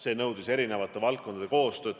See nõudis eri valdkondade koostööd.